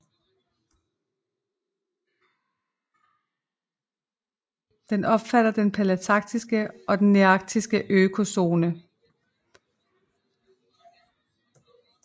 Det omfatter den palæarktiske og nearktiske økozone